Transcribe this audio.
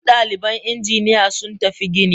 Duk daliban injiniya sun tafi gini.